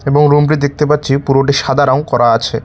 এবং রুমটি দেখতে পাচ্ছি পুরোটি সাদা রং করা আছে।